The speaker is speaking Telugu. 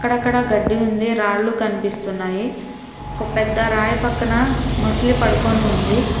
అక్కడక్కడా గడ్డి ఉంది రాళ్లు కనిపిస్తున్నాయి ఒక పెద్ద రాయి పక్కన మొసలి పడుకొని ఉంది.